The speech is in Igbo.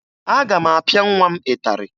Aga m apịa nwa m ịtarị